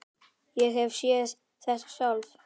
Ég hef séð þetta sjálf.